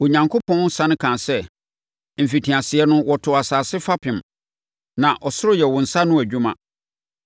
Onyankopɔn sane kaa sɛ, “Mfitiaseɛ no wotoo asase fapem, na ɔsoro yɛ wo nsa ano adwuma.